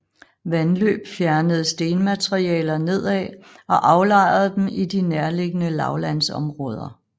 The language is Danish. Vandløb fjernede stenmaterialer nedad og aflejrede dem I de nærliggende lavlandsområder